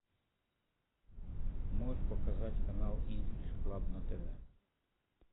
можешь показать канал инглиш клаб на тв